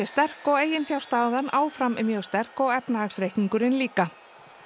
sterk og eiginfjárstaðan áfram mjög sterk og efnahagsreikningurinn líka